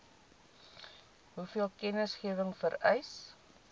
hoeveel kennisgewing vereis